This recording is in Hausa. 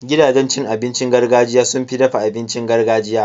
Gidajen abincin gargajiya sun fi dafa abincin gargajiya.